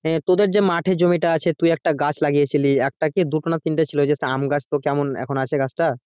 হ্যাঁ তোদের যে মাঠে জমিটা আছে সে তুই একটা গাছ লাগিয়ে ছিলি একটা কি দুটো না তিনটে ছিল ওই যে সে আম গাছ তো কেমন এখন আছে গাছটা?